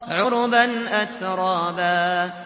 عُرُبًا أَتْرَابًا